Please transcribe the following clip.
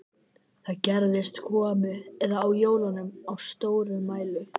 Þegar gestir komu eða á jólum og stórafmælum.